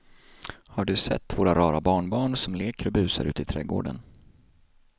Har du sett våra rara barnbarn som leker och busar ute i grannträdgården!